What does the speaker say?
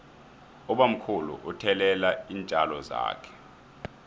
ubamkhulu uthelelela iintjalo zakhe